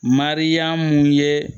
Mariyamu ye